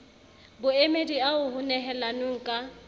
boemedi ao ho nehelanweng ka